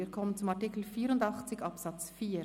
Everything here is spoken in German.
Wir kommen zu Artikel 84 Absatz 4.